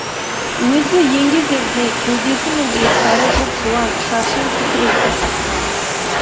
өзі еңгезердей кеудесі мен иықтары жұп жуан шашын тікірейте қырыққан